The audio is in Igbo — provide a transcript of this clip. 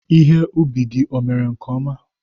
Ihe ubi gị emere nke ọma?